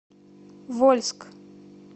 вольск